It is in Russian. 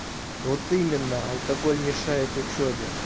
вот именно алкоголь мешает учёбе